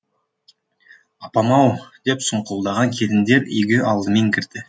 апам ау деп сұңқылдаған келіндер үйге алдымен кірді